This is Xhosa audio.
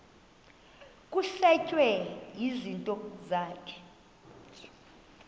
kusetshwe izinto zakho